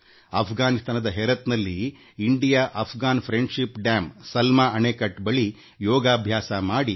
ಅಪ್ಘಾನಿಸ್ತಾನದ Herat ನಲ್ಲಿ ಭಾರತ ಮತ್ತು ಆಫ್ಘಾನಿಸ್ತಾನದ ಸ್ನೇಹ ಸಂಕೇತವಾಗಿರುವ ಸಲ್ಮಾ ಅಣೆಕಟ್ಟೆ ಬಳಿ ಯೋಗ ಪ್ರದರ್ಶನ ನಡೆಸಿದರು